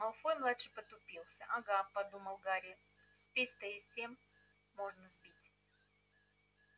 малфой-младший потупился ага подумал гарри спесь-то и с тем можно сбить